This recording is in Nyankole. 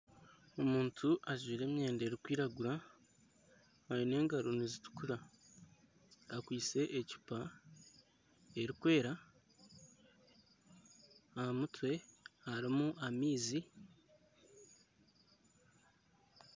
Omuntu ajwaire emyenda erikwiragura aine engaro nizitukura akwaitse ecupa erikwera aha mutwe harimu amaizi.